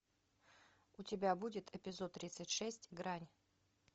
у тебя будет эпизод тридцать шесть грань